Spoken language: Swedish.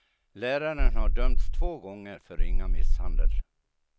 Läraren har dömts två gånger för ringa misshandel.